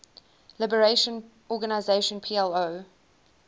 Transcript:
liberation organization plo